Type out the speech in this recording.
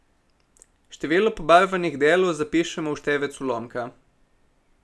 Število pobarvanih delov zapišemo v števec ulomka.